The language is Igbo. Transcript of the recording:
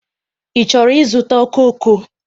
Ị chọrọ ịzụta okooko?